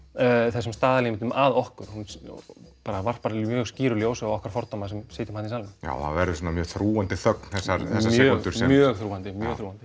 þessum staðalímyndum að okkur hún bara varpar mjög skýru ljósi á okkar fordóma sem sitjum í salnum já það verður svona mjög þrúgandi þögn þessar sekúndur mjög þrúgandi mjög þrúgandi